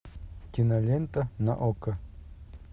кинолента на окко